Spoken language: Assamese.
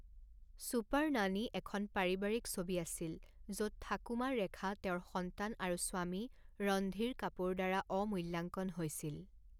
ছুপাৰ নানী এখন পাৰিবাৰিক ছবি আছিল, য'ত ঠাকুমা ৰেখা তেওঁৰ সন্তান আৰু স্বামী ৰণধীৰ কাপুৰ দ্বাৰা অমূল্যাঙ্কন হৈছিল।